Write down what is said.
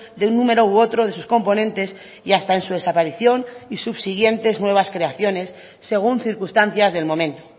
de un número u otro de sus componentes y hasta en su desaparición y subsiguientes nuevas creaciones según circunstancias del momento